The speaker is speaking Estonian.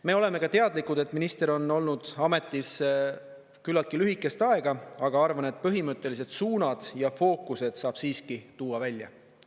Me oleme ka teadlikud, et minister on olnud ametis küllaltki lühikest aega, aga arvan, et põhimõttelised suunad ja fookused saab siiski tuua välja.